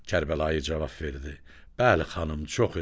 Kərbəlayı cavab verdi: Bəli xanım, çox idi.